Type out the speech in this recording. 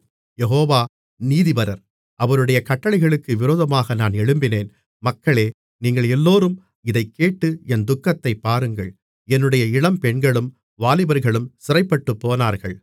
யெகோவா நீதிபரர் அவருடைய கட்டளைகளுக்கு விரோதமாக நான் எழும்பினேன் மக்களே நீங்கள் எல்லோரும் இதைக் கேட்டு என் துக்கத்தைப் பாருங்கள் என்னுடைய இளம்பெண்களும் வாலிபர்களும் சிறைப்பட்டுப்போனார்கள்